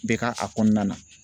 Bɛ ka a kɔnɔna na.